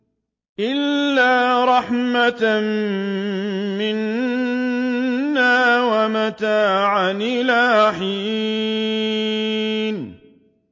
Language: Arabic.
إِلَّا رَحْمَةً مِّنَّا وَمَتَاعًا إِلَىٰ حِينٍ